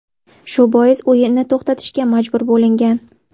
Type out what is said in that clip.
Shu bois o‘yinni to‘xtatishga majbur bo‘lingan.